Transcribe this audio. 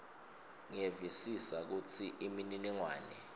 ngiyevisisa kutsi imininingwane